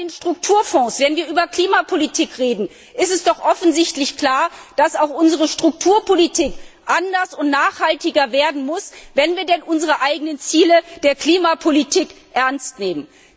Bei den Strukturfonds, wenn wir über Klimapolitik reden, ist es doch offensichtlich klar, dass auch unsere Strukturpolitik anders und nachhaltiger werden muss, wenn wir denn unsere eigenen Ziele der Klimapolitik ernst nehmen.